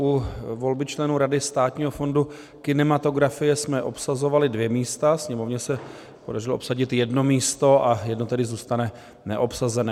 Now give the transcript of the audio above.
U volby členů Rady Státního fondu kinematografie jsme obsazovali dvě místa, Sněmovně se podařilo obsadit jedno místo a jedno tedy zůstane neobsazené.